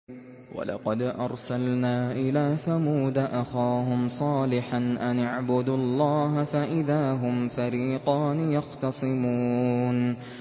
وَلَقَدْ أَرْسَلْنَا إِلَىٰ ثَمُودَ أَخَاهُمْ صَالِحًا أَنِ اعْبُدُوا اللَّهَ فَإِذَا هُمْ فَرِيقَانِ يَخْتَصِمُونَ